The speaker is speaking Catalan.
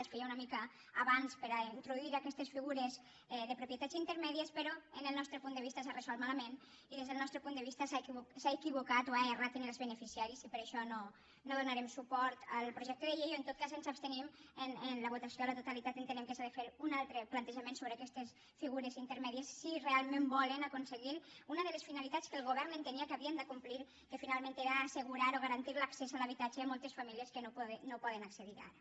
es feia una mica abans per a introduir aquestes figures de propietat intermèdies però des del nostre punt de vista s’ha resolt malament i des del nostre punt de vista s’ha equivocat o s’ha errat en els beneficiaris i per això no donarem suport al projecte de llei o en tot cas ens abstenim en la votació a la totalitat entenent que s’ha de fer un altre plantejament sobre aquestes figures intermèdies si realment volen aconseguir una de les finalitats que el govern entenia que havia de complir que finalment era assegurar o garantir l’accés a l’habitatge a moltes famílies que no poden accedirhi ara